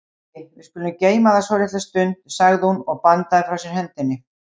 Æi, við skulum geyma það svolitla stund, sagði hún og bandaði frá sér hendinni.